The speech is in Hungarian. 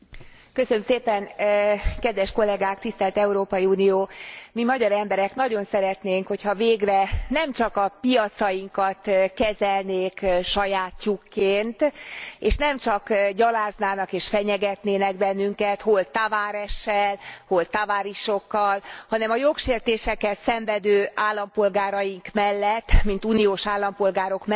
Mi magyar emberek nagyon szeretnénk, ha végre nem csak a piacainkat kezelnék sajátjukként, és nem csak gyaláznának és fenyegetnének bennünket hol Tavaressel, hol tavarisokkal, hanem a jogsértéseket szenvedő állampolgáraink mellett mint uniós állampolgárok mellett, határozottan kiállnának, kiállna az Európai Unió.